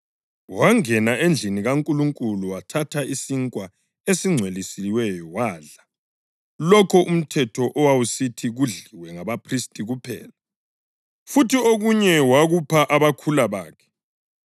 Wangena endlini kaNkulunkulu wathatha isinkwa esingcwelisiweyo wadla lokho umthetho owawusithi kudliwe ngabaphristi kuphela. Futhi okunye wakupha abakhula bakhe.”